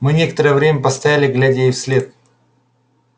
мы некоторое время постояли глядя ей вслед